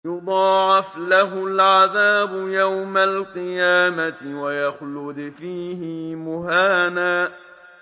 يُضَاعَفْ لَهُ الْعَذَابُ يَوْمَ الْقِيَامَةِ وَيَخْلُدْ فِيهِ مُهَانًا